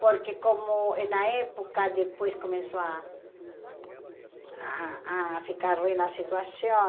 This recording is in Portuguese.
Porque, como na época, depois começou a a a ficar ruim a situação.